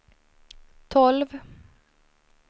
tolv